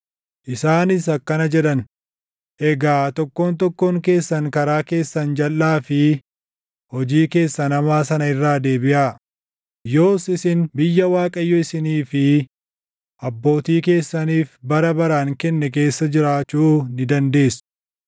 Isaanis akkana jedhan; “Egaa tokkoon tokkoon keessan karaa keessan jalʼaa fi hojii keessan hamaa sana irraa deebiʼaa; yoos isin biyya Waaqayyo isinii fi abbootii keessaniif bara baraan kenne keessa jiraachuu ni dandeessu.